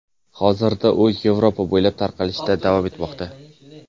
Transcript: Hozirda u Yevropa bo‘ylab tarqalishda davom etmoqda .